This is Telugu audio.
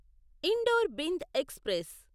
indoor Bhind express